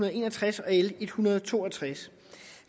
og en og tres og l en hundrede og to og tres